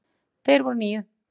Þeir voru níu.